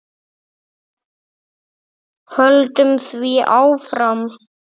Höldum því áfram.